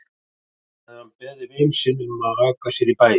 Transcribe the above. Þá hafði hann beðið vin sinn um að aka sér í bæinn.